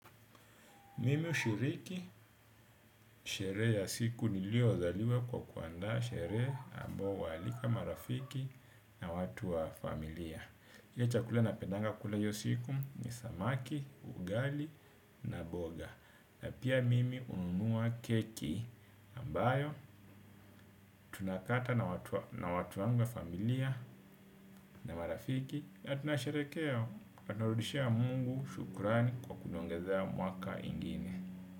Mimi hushiriki sherehe ya siku niliyozaliwa kwa kuandaa sherehe ambayo hualika marafiki na watu wa familia. Kile chakula napendanga kula hiyo siku ni samaki, ugali na boga. Na pia mimi hunumua keki ambayo tunakata na watu wa familia na marafiki. Na tunasheherekea, na tarudishia Mungu shukurani kwa kuniongezea mwaka ingine.